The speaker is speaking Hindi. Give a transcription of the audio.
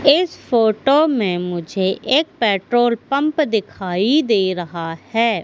इस फोटो में मुझे एक पेट्रोल पंप दिखाई दे रहा है।